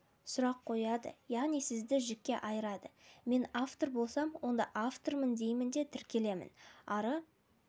сұрақ қояды яғни сізді жікке айырады мен автор болсам онда автормын деймін де тіркелемін ары